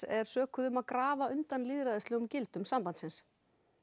er sökuð um að grafa undan lýðræðislegum gildum sambandsins